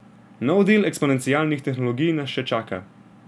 Nov del eksponencialnih tehnologij nas še čaka.